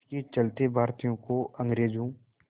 इसके चलते भारतीयों को अंग्रेज़ों